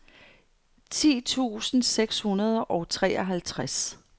ti tusind seks hundrede og treoghalvtreds